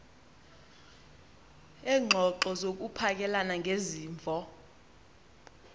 leengxoxo zokuphakelana ngezimvo